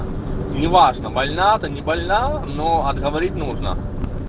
неважно больна ты не больна но отговорить нужно